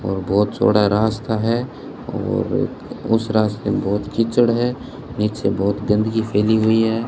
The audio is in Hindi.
और बहुत चौड़ा रास्ता है और उस रास्ते में बहुत कीचड़ है नीचे बहुत गंदगी फैली हुई है।